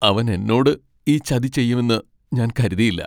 അവൻ എന്നോട് ഈ ചതി ചെയ്യുമെന്ന് ഞാൻ കരുതിയില്ല.